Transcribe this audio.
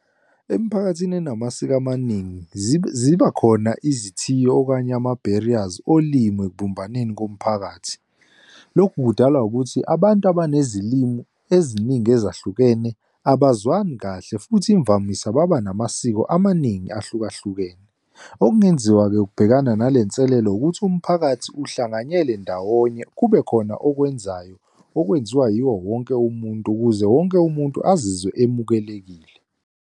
Emphakathini enamasiko amaningi, zibakhona izithiyo, okanye ama-barriers olimi ekubumbaneni komphakathi. Lokhu kudalwa ukuthi abantu abanezilimi eziningi ezahlukene, abazwani kahle futhi imvamisa baba namasiko amaningi ahlukahlukene. Okungenziwa-ke ukubhekana nalenselelo, ukuthi umphakathi uhlanganyele ndawonye kubekhona okwenzayo, okwenziwa yiwo wonke umuntu ukuze wonke umuntu azizwe emukelekile.